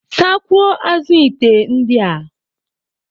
Sakwuo azụ ite ndị a.